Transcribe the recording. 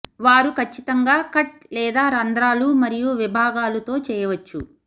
వారు ఖచ్చితంగా కట్ లేదా రంధ్రాలు మరియు విభాగాలు తో చేయవచ్చు